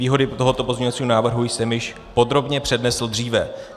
Výhody tohoto pozměňovacího návrhu jsem již podrobně přednesl dříve.